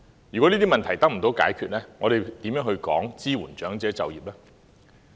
如果這些問題得不到解決，又談甚麼支援長者就業？